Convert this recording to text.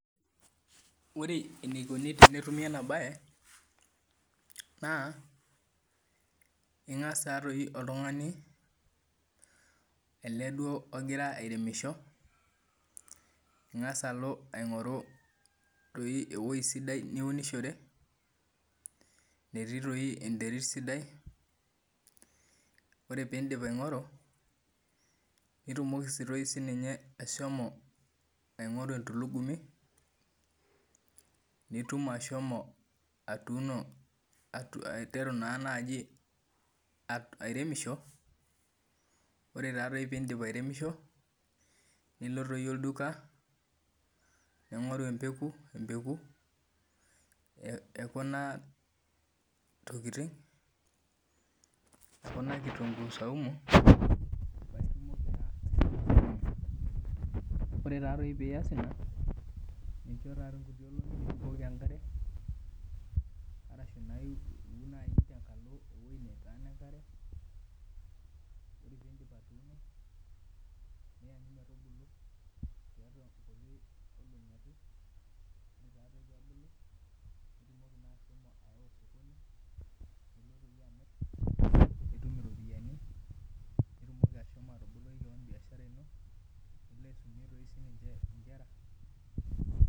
Ore enikoni tenetumi ena mbae naa eng'as taadoi oltung'ani ele duo ogira airemisho eng'as alo aing'oru ewueji sidai niunishore nemetii enterit sidai ore pidip aing'oru nitomoki doi ashomo aing'oru entulugumu nitum ashomo aiteru airemisho ore pidip airemisho nilo olduka ning'oru embekuu ekuna tokitin ekuna kitunguu zaumu ore pee eyas ena nibukoki enkare ashu Eun tenkalo ewueji netaana enkare nianyu metubulu tiatua nkuti olongi ake naitumoki na ahomo awa sokoni nilo amir nitum eropiani niboloki kewon biashara eno naitumoki doi ahomo aisumie nkera